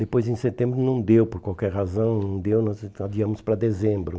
Depois em setembro não deu por qualquer razão, não deu, nós então adiamos para dezembro.